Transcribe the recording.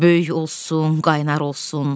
Böyük olsun, qaynar olsun.